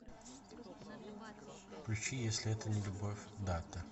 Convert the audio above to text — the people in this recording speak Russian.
включи если это не любовь дато